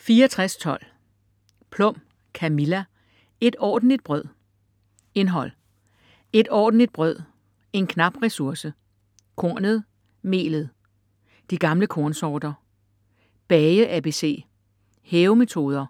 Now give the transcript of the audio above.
64.12 Plum, Camilla: Et ordentligt brød Indhold: Et ordentligt brød - en knap ressource; Kornet - melet; De gamle kornsorter; Bage ABC; Hævemetoder;